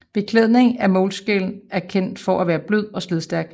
Beklædning af moleskin er kendt for at være blød og slidstærk